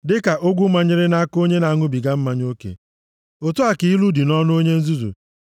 Dịka ogwu manyere nʼaka onye na-aṅụbiga mmanya oke otu a ka ilu dị nʼọnụ onye nzuzu.